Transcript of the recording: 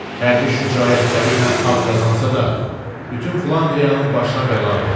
Hərbi şücaətləri ilə ad qazansa da, bütün Flandriyanın başına bəladır.